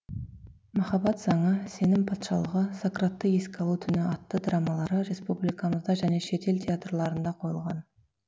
махаббат заңы сенім патшалығы сократты еске алу түні атты драмалары республикамызда және шетел театрларында қойылған